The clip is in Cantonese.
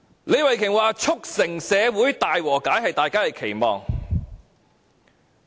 李慧琼議員說，促成社會大和解是大家的期望。